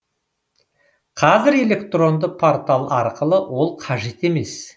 қазір электронды портал арқылы ол қажет емес